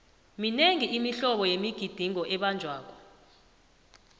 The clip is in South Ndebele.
minengi imihlobo yemigidingo ebanjwako